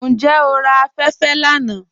Njẹ́ o rà afẹ̀fẹ̀ lána?